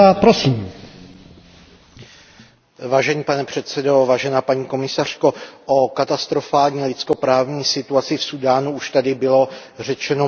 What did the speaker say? Pane předsedající, paní komisařko, o katastrofální lidskoprávní situaci v Súdánu už tady bylo řečeno mnohé a já to nebudu opakovat.